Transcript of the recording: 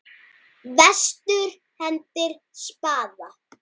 Vestur hendir spaða.